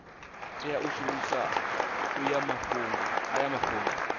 tea u shumisa aya mafhungo